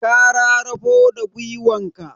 Ka rarafo da gwiwanka